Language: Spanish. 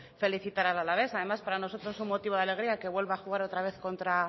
felicitar al alavés además para nosotros es un motivo de alegría que vuelva a jugar otra vez con